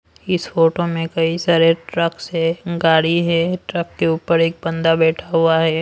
इस फोटो में कई सारे ट्रक्स है गाड़ी है ट्रक के ऊपर एक बंदा बैठा हुआ है।